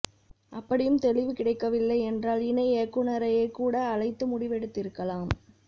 அப்படியும் தெளிவு கிடைக்கவில்லை யென்றால் இணை இயக்குநரையேகூட அழைத்து முடிவெ டுத்திருக்கலாம்